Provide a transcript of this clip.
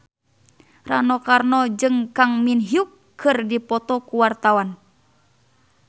Rano Karno jeung Kang Min Hyuk keur dipoto ku wartawan